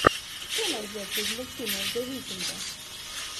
что найдется из мультфильмов зе викнда